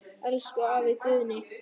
Elsku afi Guðni.